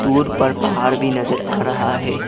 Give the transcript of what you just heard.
पुल पर पहाड़ भी नजर आ रहा है।